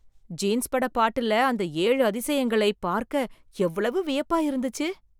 jeans பட பாட்டுல அந்த ஏழு அதிசயங்களை பார்க்க எவ்வளவு வியப்பா இருந்துச்சு